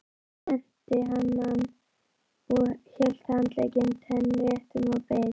Hann spennti hanann og hélt handleggnum teinréttum og beið.